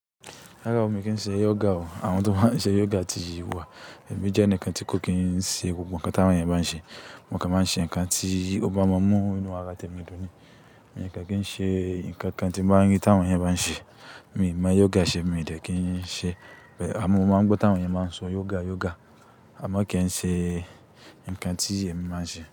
Rárá o, mi n kì n ṣe yoga o. Àwọn tó máa ń ṣe yoga ti wà. Èmi jẹ́ ẹnìkan tí kò kì í ṣe gbogbo ǹnkan tí àwọn eeyan bá ń ṣe. Mo kàn máa ń ṣe ǹnkan tí ó bá máa mú inú ara tèmi dùn ni. N ǹnkan kí n ṣe, ǹnkan kan tí n ba rí tí àwọn eeyan bá ń ṣe. Mi n mọ yoga ṣe, mi n dẹ̀ kì n ṣe. But amo mọ máa ń gbọ́ tí àwọn eeyan máa ń sọ yoga, yoga. Àmọ́ kì n ṣe ǹnkan tí èmi máa ń ṣe.